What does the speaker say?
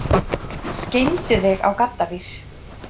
Skeindu þig á gaddavír!